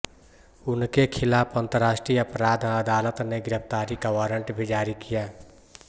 उनके खिलाफ अंतरराष्ट्रीय अपराध अदालत ने गिरफ्तारी का वारंट भी जारी किया